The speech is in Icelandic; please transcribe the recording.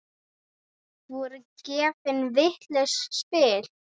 Voru gefin vitlaus spil?